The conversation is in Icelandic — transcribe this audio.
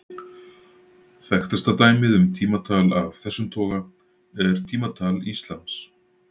Þekktasta dæmið um tímatal af þessum toga er tímatal íslams.